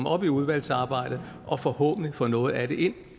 op i udvalgsarbejdet og forhåbentlig få noget af det ind